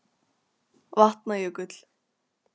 Vatna- jökull